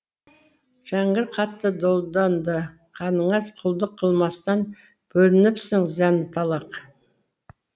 жәңгір қатты долданды қаныңа құлдық қылмастан бөлініпсің зәнталақ